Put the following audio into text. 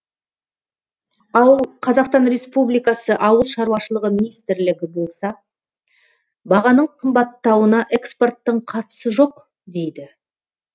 ал қазақстан республикасы ауыл шаруашылығы министрлігі болса бағаның қымбаттауына экспорттың қатысы жоқ дейді